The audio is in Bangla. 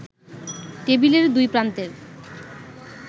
টেবিলের দুই প্রান্তের